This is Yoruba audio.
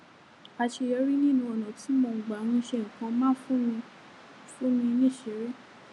àṣeyọrí nínú ònà tí mo gbà ń ṣe nǹkan máa ń fún mi fún mi níṣìírí